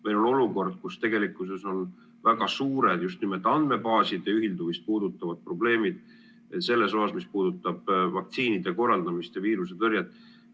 Meil on olukord, kus tegelikkuses on väga suured just nimelt andmebaaside ühildumist puudutavad probleemid selles osas, mis puudutab vaktsineerimise korraldamist ja viirusetõrjet.